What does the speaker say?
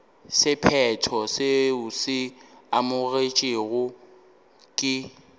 sephetho seo se amogetšwego ke